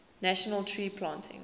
national tree planting